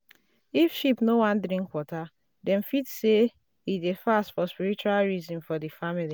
if sheep no wan drink water dem fit say e dey fast for spiritual reason for the family.